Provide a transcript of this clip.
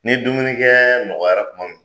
Ni dumunikɛ nɔgɔyara kuma min